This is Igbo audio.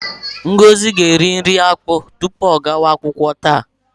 Ngozi ga-eri nri akpụ tupu ọ gawa akwụkwọ taa.